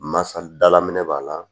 Masa dalaminɛ b'a la